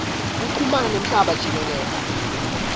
kuchumana nemhlaba jikelele